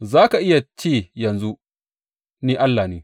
Za ka iya ce yanzu, Ni allah ne,